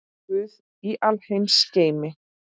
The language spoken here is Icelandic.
Guð í alheims geimi.